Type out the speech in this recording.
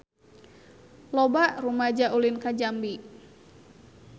Loba rumaja ulin ka Jambi